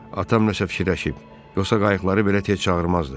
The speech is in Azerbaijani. Atam nəşə fikirləşib, yoxsa qayıqları belə tez çağırmazdı.